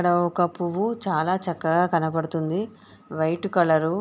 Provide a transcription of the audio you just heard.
ఇక్కడ ఒక పువ్వు చాలా చక్కగా కనబడుతుంది. White colour.